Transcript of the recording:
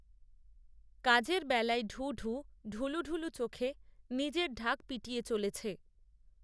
কাজের বেলায় ঢুঢু ঢুলুঢুলু চোখে নিজের ঢাক পিটিয়ে চলেছে